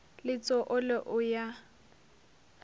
le tso olo o ya